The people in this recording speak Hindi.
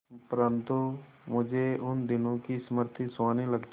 परंतु मुझे उन दिनों की स्मृति सुहावनी लगती है